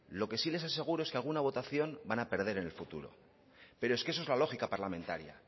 lo que sí les aseguro es que alguna votación van a perder en el futuro pero es que eso es la lógica parlamentaria